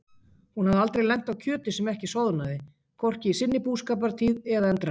Hún hafði aldrei lent á kjöti sem ekki soðnaði, hvorki í sinni búskapartíð eða endranær.